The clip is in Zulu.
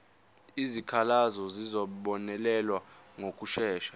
izikhalazo zizobonelelwa ngokushesha